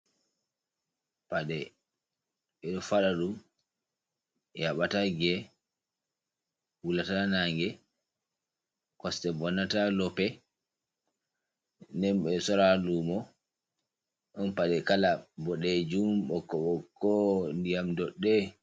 Paɗe ɓeɗo faɗaɗum yaɓata ge'e, wulata nange, koste vonnata ha lope. Nden ɓeɗo sora ha lumo. Ɗon paɗe kala boɗejum ɓokko-ɓokko, ndiyam dodɗe.